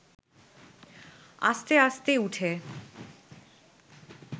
আস্তে আস্তে উঠে